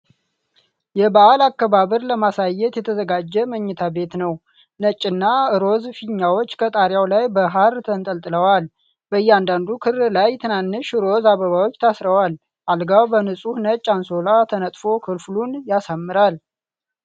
የበዓል አከባበር ለማሳየት የተዘጋጀ መኝታ ቤት ነው። ነጭና ሮዝ ፊኛዎች ከጣሪያው ላይ በሐር ተንጠልጥለዋል። በእያንዳንዱ ክር ላይ ትናንሽ ሮዝ አበባዎች ታስረዋል። አልጋው በንጹህ ነጭ አንሶላ ተነጥፎ ክፍሉን ያሳምረዋል።